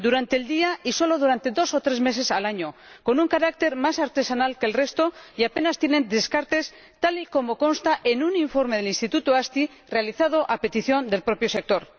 Lo hacen durante el día y solo durante dos o tres meses al año, con un carácter más artesanal que el resto y apenas tienen descartes, tal y como consta en un informe del instituto AZTI realizado a petición del propio sector.